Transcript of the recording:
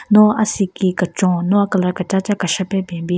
No asiki kechon no a-colour kechacha keshae pe ben bin.